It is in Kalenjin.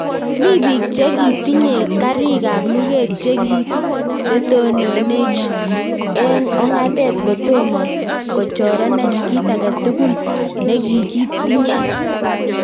Mii biik chekitinyee kariik ab lugeet chekitetononeech eng ong'atet kotoma kochorenech kit age tugul negiikitinyee